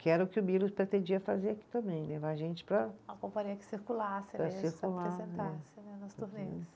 Que era o que o Milos pretendia fazer aqui também, levar a gente para. A companhia que circulasse mesmo, se apresentasse né, nas turnês.